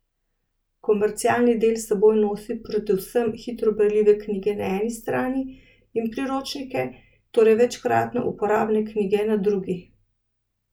Komercialni del s seboj nosi predvsem hitro berljive knjige na eni strani in priročnike, torej večkratno uporabne knjige na drugi.